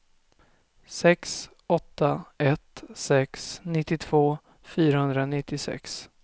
sex åtta ett sex nittiotvå fyrahundranittiosex